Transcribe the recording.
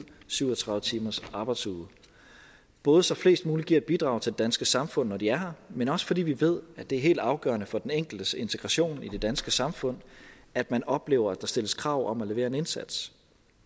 syv og tredive timers arbejdsuge både så flest mulige giver et bidrag til det danske samfund når de er her men også fordi vi ved at det er helt afgørende for den enkeltes integration i det danske samfund at man oplever at der stilles krav om at levere en indsats